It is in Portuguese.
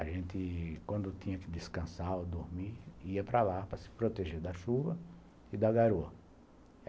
A gente, quando tinha que descansar ou dormir, ia para lá para se proteger da chuva e da garoa.